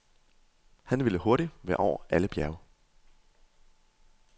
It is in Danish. Han ville hurtigt være over alle bjerge.